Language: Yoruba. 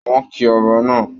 Wọn kí Ọba náà.